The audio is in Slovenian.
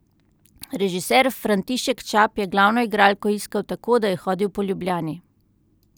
Režiser František Čap je glavno igralko iskal tako, da je hodil po Ljubljani.